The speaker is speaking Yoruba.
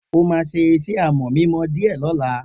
O ma sé iṣẹ́ amò mímọ dìé lóla